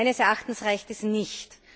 Meines Erachtens reicht es nicht.